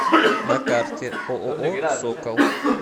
на карте ооо сокол